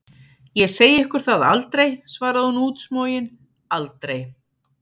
Ég segi ykkur það aldrei, svarði hún útsmogin, aldrei!